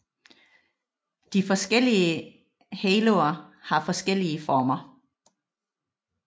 De forskellige haloer har forskellige former